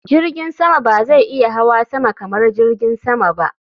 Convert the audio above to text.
Jirgin sama ba zai iya hawa sama kamar jirgin sama ba.